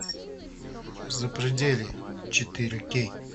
запределье четыре кей